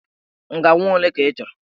Ngaị nwa ole ka ị chọrọ?